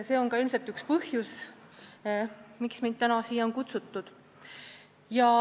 See on ka ilmselt üks põhjustest, miks mind täna siia on kutsutud.